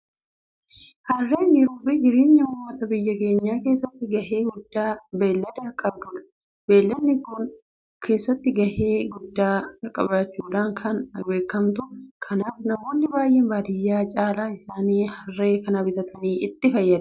Harreen jiruufi jireenya uummata biyya kanaa keessatti gahee guddaa beellada qabdudha. Beelladni kun keessumaa dadhabbii haadholii xiqqeessuu keessatti gahee guddaa qabaachuudhaan kan beekamtudha. Kanaaf namoonni baadiyyaa irra caalaan isaanii Harree kana bitatanii itti fayyadamu.